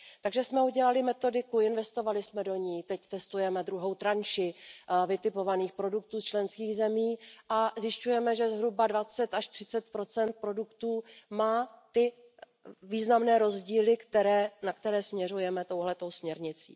Takže jsme udělali metodiku, investovali jsme do ní, teď testujeme druhou řadu vytipovaných produktů členských zemí a zjišťujeme, že zhruba dvacet až třicet procent produktů má ty významné rozdíly, na které směřujeme touto směrnicí.